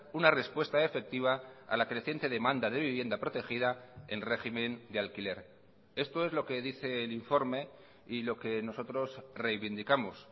una respuesta efectiva a la creciente demanda de vivienda protegida en régimen de alquiler esto es lo que dice el informe y lo que nosotros reivindicamos